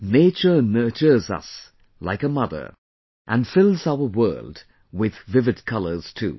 Nature nurtures us like a Mother and fills our world with vivid colors too